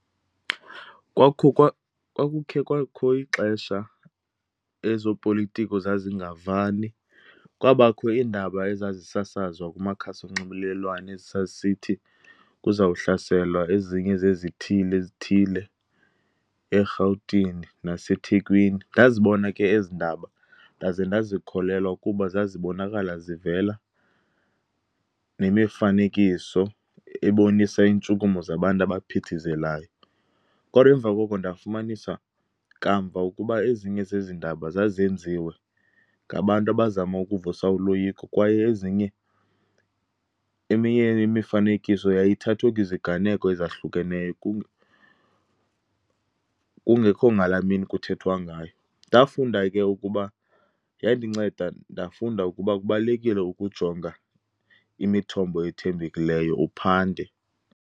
Kwakuho kwa, kwakukhe kwakho ixesha ezopolitiko zazingavani. Kwabakho iindaba ezazisasazwa kumakhasi onxibelelwano ezi zazisithi kuzawuhlaselwa ezinye zezithili ezithile eRhawutini naseThekwini. Ndazibona ke ezi ndaba ndaze ndazikholelwa ukuba zazibonakala zivela nemifanekiso ebonisa iintshukumo zabantu abaphithizelayo. Kodwa emva koko ndafumanisa, kamva ukuba ezinye zezi ndaba zazenziwe ngabantu abazama ukuvusa uloyiko kwaye ezinye, eminye imifanekiso yayithathwe kwiziganeko ezahlukeneyo kungekho ngalaa mini kuthethwa ngayo. Ndafunda ke ukuba, yandinceda ndafunda ukuba kubalulekile ukujonga imithombo ethembekileyo, uphande.